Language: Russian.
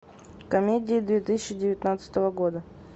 комедии две тысячи девятнадцатого года